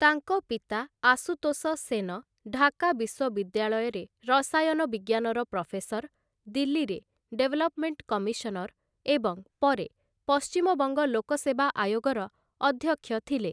ତାଙ୍କ ପିତା ଆଶୁତୋଷ ସେନ ଢାକା ବିଶ୍ୱବିଦ୍ୟାଳୟରେ ରସାୟନ ବିଜ୍ଞାନର ପ୍ରଫେସର, ଦିଲ୍ଲୀରେ ଡେଭଲପ୍‌ମେଣ୍ଟ କମିଶନର ଏବଂ ପରେ ପଶ୍ଚିମବଙ୍ଗ ଲୋକସେବା ଆୟୋଗର ଅଧ୍ୟକ୍ଷ ଥିଲେ ।